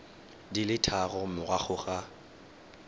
di le tharo morago ga